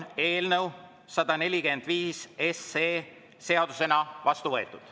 Eelnõu 145 on seadusena vastu võetud.